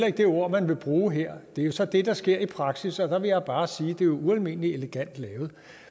ikke det ord man vil bruge her det er jo så det der sker i praksis og der vil jeg bare sige at det er ualmindelig elegant lavet